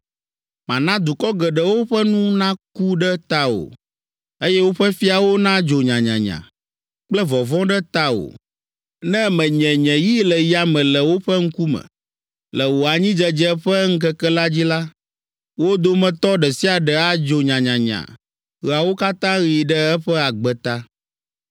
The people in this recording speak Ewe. Mana dukɔ geɖewo ƒe nu naku ɖe tawò, Eye woƒe fiawo nadzo nyanyanya Kple vɔvɔ̃ ɖe tawò, Ne menye nye yi le yame le woƒe ŋkume. Le wò anyidzedze ƒe ŋkeke la dzi la, Wo dometɔ ɖe sia ɖe adzo nyanyanya Ɣeawo katã ɣi ɖe eƒe agbe ta.